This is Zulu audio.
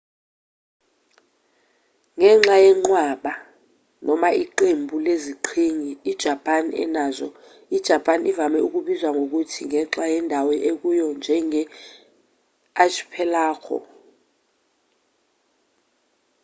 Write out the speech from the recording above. ngenxa yenqwaba/iqembu leziqhingi ijapani enazo ijapani ivame ukubizwa ngokuthi ngenxa yendawo ekuyo njenge-"archipelago